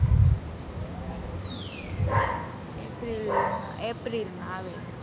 april માં april માં આવે છે.